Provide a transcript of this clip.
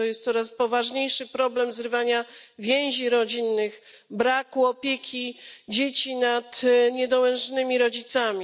To jest coraz poważniejszy problem zrywania więzi rodzinnych, braku opieki dzieci nad niedołężnymi rodzicami.